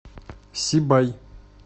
сибай